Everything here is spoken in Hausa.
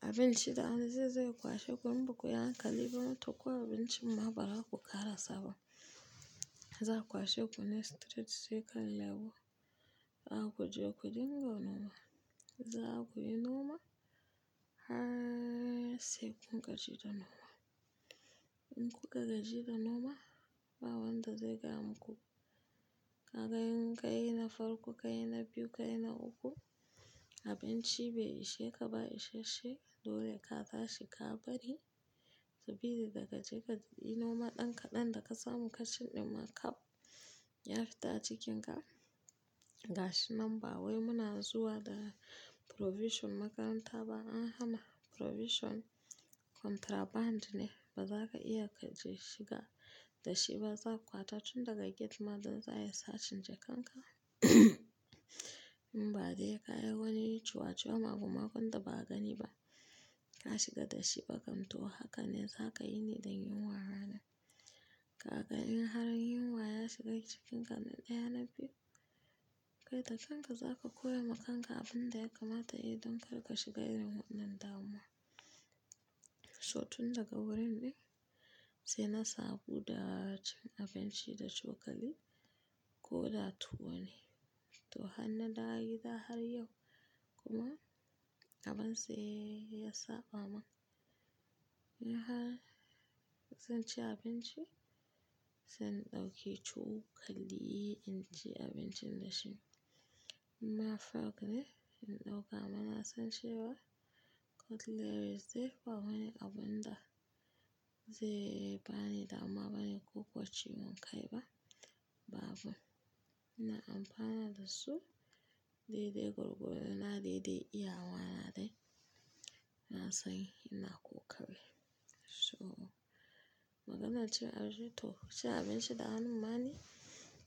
abinci da hannu zaizo ya kwashe ku inba ku yi hankali ba. To ko abincin ma ba za a ku ƙara saba. Za a kwashe kune straight sai ka lebo za ku je ku dinga noma. Za ku yi noma har sai kun gaji da noma. In kuka gaji da noma ba wanda zai kama ku. Ka ga in ka yi na farko, ka yi na biyu, ka yi na uku abinci bai ishe ka ba isashe dole ka tashi ka bari sabida da ka je ka yi noma ɗan ka ɗan da ka samu ka cin ɗin ma kaf ya fita a cikinka. Gashi nan ba wai muna zuwa da provision makaranta ba an hana provision contraband ne ba za ka iya ka je shiga da shi ba. Za a kwata tun daga gate man don za a yi sace jakan ka. In ba dai ka yi wani ciwaciwa maimakon da ba a gani ba ka shiga da shi ba kam to haka ne za ka yi niɗa yunwa ranan. Ka ga in har yunwa ya shiga cikinka na ɗaya na biyu. Kai da kanka za ka koyi ma kanka abin da ya kamata yi don kar ka shiga irin wannan damuwa. So tun daga wurin ɗin sai na sabo da cin abinci da cokali ko da tuwo ne. To har na dawo gida har yau kuma abun sai ya saba man. In har zan ci abinci zan ɗauki cokali in ci abincin da shi. In ma fork ne in ɗauka mana zan ci ba cutlery zai ba wani abun da zai bani damuwa bani kikuwa ci won kai ba, babu. Ina amfana da su dai dai gwargodo dina dai dai iyawa na dai. Na sani ina ƙoƙari. So maganar cin abinci to ci abinci da hannu na ne